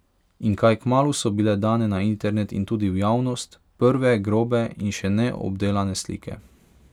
In kaj kmalu so bile dane na internet in tudi v javnost prve grobe in še ne obdelane slike.